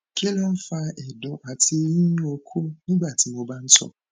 kí ló ń fa ẹdùn àti yíyún okó nígbàtí mo bá ń tọ